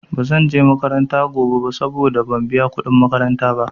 Ba zanje makaranta gobe ba saboda ban biya kuɗin makaranta ba.